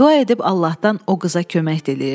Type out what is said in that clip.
Dua edib Allahdan o qıza kömək diləyirdi.